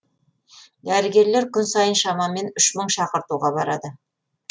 дәрігерлер күн сайын шамамен үш мың шақыртуға барады